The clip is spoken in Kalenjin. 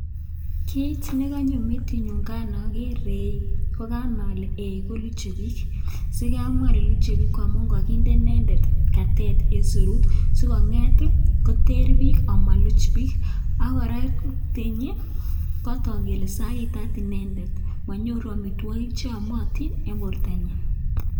Kit ne konyo metinyun kan oger eeiy, koganai ole eeiy ko luche biik. Sikai amwa ale eiy koluche biik koamun koginde inendet katet en serut si kong'eet ii koter biik amuluch biik ak koraa tenyi kogatook kele sagitat inendet. Monyoru amitwogik che amotin en bortanyin.